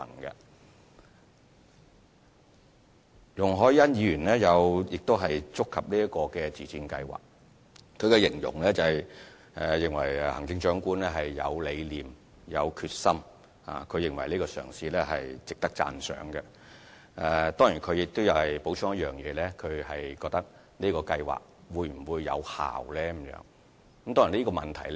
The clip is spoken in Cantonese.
容海恩議員亦有談及這項自薦計劃，她形容行政長官有理念、有決心，而且認為這個嘗試值得讚賞，但她補充詢問這項計劃會否有效。